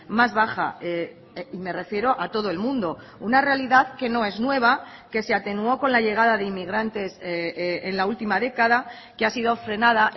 más baja y me refiero a todo el mundo una realidad que no es nueva que se atenuó con la llegada de inmigrantes en la última década que ha sido frenada